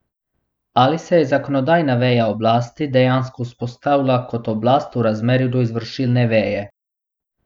Ali se je zakonodajna veja oblasti dejansko vzpostavila kot oblast v razmerju do izvršilne veje?